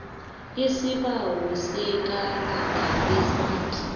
isibawo sekarada lesmart